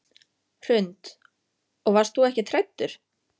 Hrund: Og varst þú ekkert hræddur?